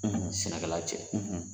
sɛnɛkɛla cɛ